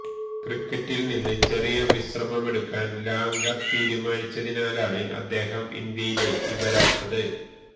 ക്രിക്കറ്റിൽ നിന്ന് ചെറിയ വിശ്രമമെടുക്കാൻ ലാംഗർ തീരുമാനിച്ചതിനാലാണ് അദ്ദേഹം ഇന്ത്യയിലേക്ക് വരാത്തത്